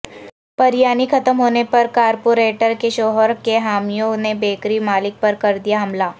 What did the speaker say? بریانی ختم ہونے پر کارپوریٹر کے شوہر کے حامیوں نے بیکری مالک پر کردیا حملہ